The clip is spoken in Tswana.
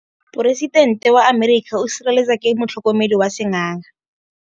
Poresitêntê wa Amerika o sireletswa ke motlhokomedi wa sengaga.